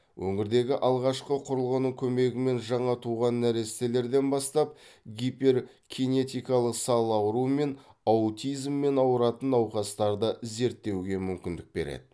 өңірдегі алғашқы құрылғының көмегімен жаңа туған нәрестелерден бастап гиперкинетикалық сал ауруымен аутизммен ауыратын науқастарды зерттеуге мүмкіндік береді